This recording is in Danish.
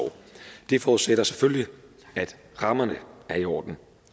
det forudsætter selvfølgelig at rammerne er i orden